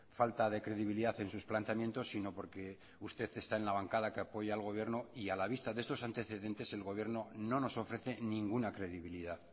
falta de credibilidad en sus planteamientos sino porque usted está en la bancada que apoya al gobierno y a la vista de estos antecedentes el gobierno no nos ofrece ninguna credibilidad